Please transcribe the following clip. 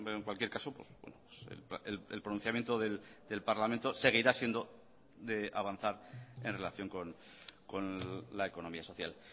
en cualquier caso el pronunciamiento del parlamento seguirá siendo de avanzar en relación con la economía social